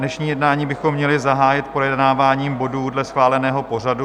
Dnešní jednání bychom měli zahájit projednáváním bodů dle schváleného pořadu.